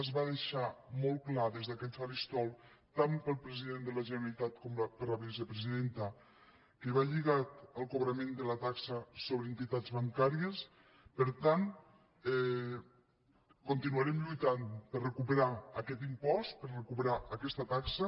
es va deixar molt clar des d’aquest faristol tant pel president de la generalitat com per la vicepresidenta que va lligat al cobrament de la taxa sobre entitats bancàries per tant continuarem lluitant per recuperar aquest impost per recuperar aquesta taxa